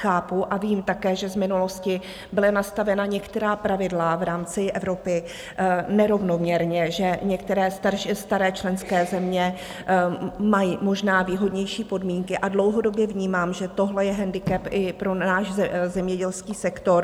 Chápu a vím také, že z minulosti byla nastavena některá pravidla v rámci Evropy nerovnoměrně, že některé staré členské země mají možná výhodnější podmínky, a dlouhodobě vnímám, že tohle je handicap i pro náš zemědělský sektor.